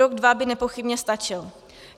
Rok dva by nepochybně stačily.